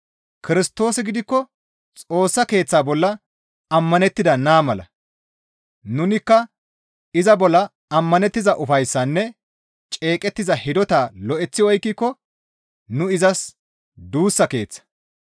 Kirstoosi gidikko Xoossa Keeththaa bolla ammanettida naa mala. Nunikka iza bolla ammanettiza ufayssaynne ceeqettiza hidotaa lo7eththi oykkiko nu izas duussa keeththa.